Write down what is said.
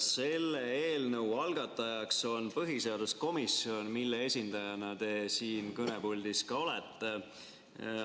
Selle eelnõu algataja on põhiseaduskomisjon, mille esindajana te siin kõnepuldis olete.